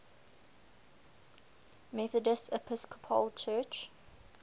methodist episcopal church